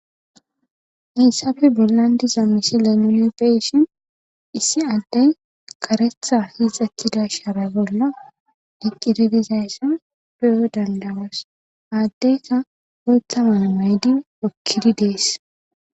Hayssafe bollan diza misi lenunppeshin issi addey karetha hiixatida shaara bolla diqqiridizayssa duyo dandawas aaddeyka wolta manamaydi okkidi dees